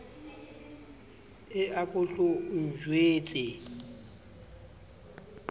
e a ko hlo ntjwetse